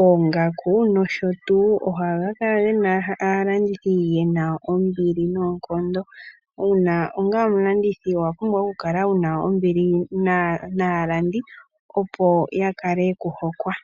oongaku, nosho tuu ohaga kala gena aalandithi yena ombili noonkondo. Uuna onga omulandithi owa pumbwa oku kala wuna ombili naalandi, opo ya kale yeku hokwa.